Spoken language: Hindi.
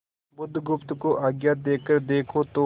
बुधगुप्त को आज्ञा देकर देखो तो